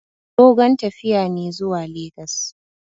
Dogon tafiya ne zuwa legas.